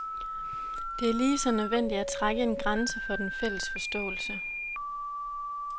Det er lige så nødvendigt at trække en grænse for den fælles forståelse.